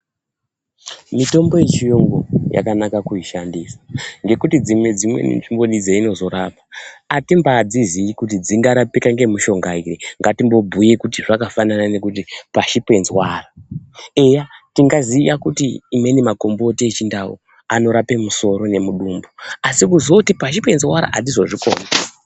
Mitombo yechiyungu yakanaka kuishandisa ngekuti dzimwe dzimweni nzvimboni dzainozorapa, hatimbadziziyi kuti dzingarapika nemishomga iyoyo. Ngatimbobhuye kuti zvakafanana ngekuti pashi penzwara. Eya tingaziya kuti amweni makomboti echindau anorapa musoro nemudumbu asi kuzoti pashi penzwara hadzizozvikoni.